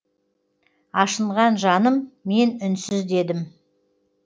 ашынған жаным мен үнсіз дедім